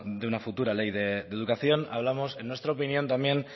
de una futura ley de educación hablamos en nuestra opinión también